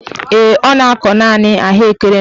Ee, ọ na-akọ naanị ahụekere n'ugbo ya.